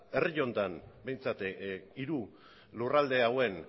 herri honetan behintzat hiru lurralde hauen